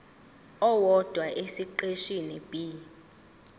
owodwa esiqeshini b